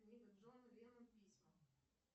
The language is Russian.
джон ленон письма